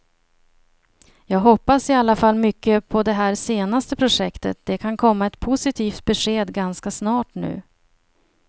Jag hoppas i alla fall mycket på det här senaste projektet, det kan komma ett positivt besked ganska snart nu.